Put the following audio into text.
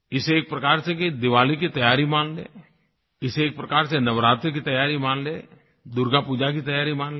इसे एक प्रकार से दिवाली की तैयारी मान लें इसे एक प्रकार से नवरात्र की तैयारी मान लें दुर्गा पूजा की तैयारी मान लें